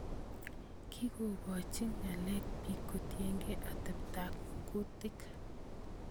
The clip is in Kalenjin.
Kikikoochi ng�aal bik kotienge ateptab kuutik